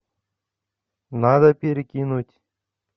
надо перекинуть